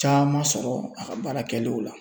Caman sɔrɔ a ka baarakɛlaw la